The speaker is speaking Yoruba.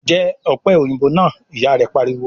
"Jẹ́ ọ̀pẹ̀ òyìnbó náà!" Ìyà rẹ pariwo